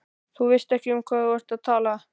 Þú veist ekki um hvað þú ert að tala.